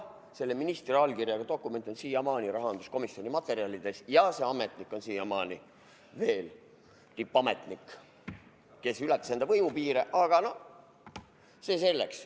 Selle ministri allkirjaga dokument on siiamaani rahanduskomisjoni materjalides, ja see ametnik, kes ületas oma võimupiire, on siiamaani veel tippametnik, aga see selleks.